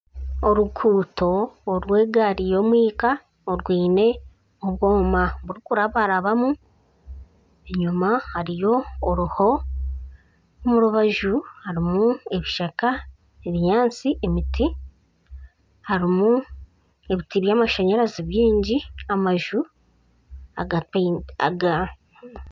Oruguuto orw'egaari y'omwika orwine obwoma burikurabarabamu, enyima hariyo oruho, omu rubaju harimu ebishaka, ebinyansti, emiti, harimu ebiti by'amashanyarazi byingi n'amaju.